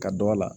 Ka dɔ a la